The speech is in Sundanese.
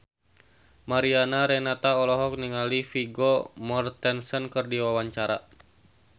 Mariana Renata olohok ningali Vigo Mortensen keur diwawancara